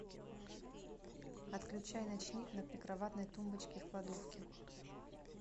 отключай ночник на прикроватной тумбочке в кладовке